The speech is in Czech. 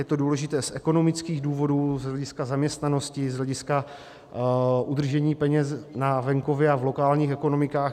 Je to důležité z ekonomických důvodů, z hlediska zaměstnanosti, z hlediska udržení peněz na venkově a v lokálních ekonomikách.